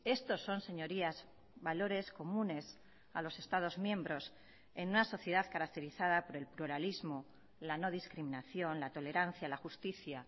estos son señorías valores comunes a los estados miembros en una sociedad caracterizada por el pluralismo la no discriminación la tolerancia la justicia